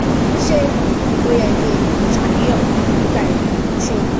ṣé ó yẹ kí n ṣàníyàn nípa èyí? o ṣeun